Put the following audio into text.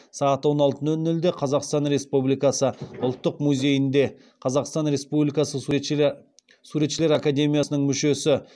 сағат он алты нөл нөлде қазақстан республикасы ұлттық музейінде қазақстан республикасы суретшілер академиясының мүшесі